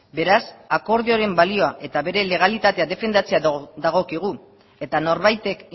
beraz akordioaren balioa eta bere legalitatea defendatzea dagokigu eta norbaitek